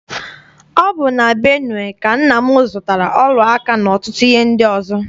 Ọ bụ na Benue ka nna m zụtara ọla aka n'ọtụtụ ihe ndị ọzọ.